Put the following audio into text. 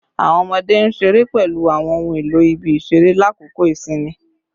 Awọn ọmọde n ṣere pẹlu awọn ohun elo ibi-iṣere lakoko isinmi